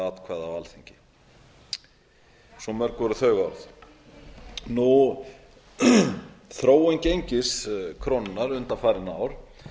atkvæða á alþingi svo mörg voru þau orð þróun gengis krónunnar undanfarin ár